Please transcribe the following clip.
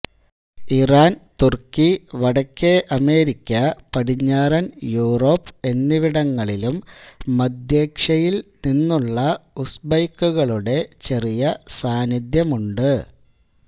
Iran തുർക്കി വടക്കേ America പടിഞ്ഞാറൻ യുറോപ്പ് എന്നിവിടങ്ങളിലും മദ്ധ്യേഷ്യയിൽ നിന്നുള്ള ഉസ്ബെക്കുകളുടെ ചെറിയ സാന്നിധ്യമുണ്ട്